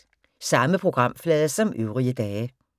Samme programflade som øvrige dage